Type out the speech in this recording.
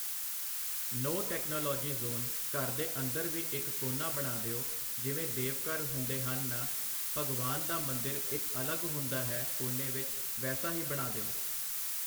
ਨੋ technology zone, ਘਰ ਦੇ ਅੰਦਰ ਵੀ ਇੱਕ ਕੋਨਾ ਬਣਾ ਦਿਉ, ਜਿਵੇਂ ਦੇਵਘਰ ਹੁੰਦੇ ਹਨ ਨਾ, ਭਗਵਾਨ ਦਾ ਮੰਦਿਰ ਇੱਕ ਅਲੱਗ ਹੁੰਦਾ ਹੈ ਕੋਨੇ ਵਿੱਚ, ਵੈਸਾ ਹੀ ਬਣਾ ਦਿਉ।